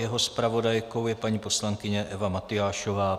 Jeho zpravodajkou je paní poslankyně Eva Matyášová.